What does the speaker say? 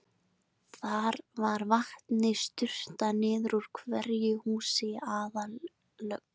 Þar var vatni sturtað niður úr hverju húsi í aðallögn.